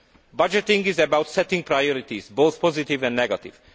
Budgeting is about setting priorities, both positive and negative.